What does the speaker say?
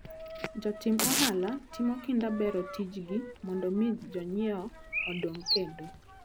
Jotim ohala timo kinda bero tijgi mondo mi jonyiewo oduog kendo.